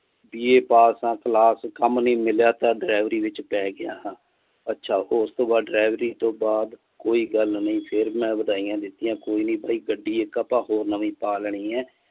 B. A ਪਾਸ ਆ class ਕੰਮ ਨੀ ਮਿਲਿਆ ਤਾਂ ਡਰਾਈਵਰੀ ਵਿਚ ਪੈ ਗਿਆ ਹਾਂ ਅੱਛਾ ਉਸਤੋਂ ਬਾਅਦ ਡਰਾਈਵਰੀ ਤੋਂ ਬਾਅਦ ਕੋਈ ਗੱਲ ਨੀ ਫਿਰ ਮੈਂ ਵਧਾਇਆਂ ਦਿਤੀਆਂ ਕੋਈ ਨੀ ਬਾਈ ਗੱਡੀ ਇਕ ਆਪਾਂ ਹੋਰ ਨਵੀ ਪਾ ਲੈਣੀ ਆ।